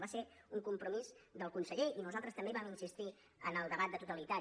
va ser un compromís del conseller i nosaltres també hi vam insistir en el debat de totalitat